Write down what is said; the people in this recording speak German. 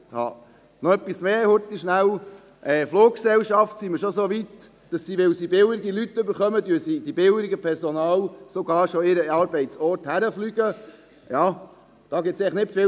Noch etwas: Die Fluggesellschaften sind schon so weit, dass sie sogar billigeres Personal zum Arbeitsort fliegen, um Kosten zu sparen.